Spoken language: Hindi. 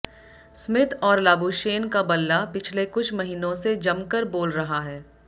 स्मिथ और लाबुशेन का बल्ला पिछले कुछ महीनों से जमकर बोल रहा है